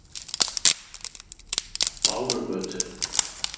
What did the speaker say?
Bárugötu